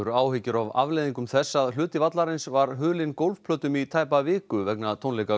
áhyggjur af afleiðingum þess að hluti vallarins var hulinn gólfplötum í tæpa viku vegna tónleika